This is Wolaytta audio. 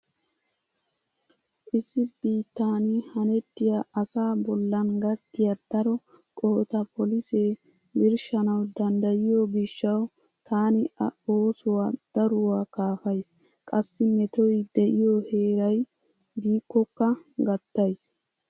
Issi biittan hanettiya asaa bollan gakkiya daro qohota polisee birshshanawu danddayiyo gishshawu taani a oosuwa daruwaa kaafays. Qassi metoy diyo heeray diikkokka gattays.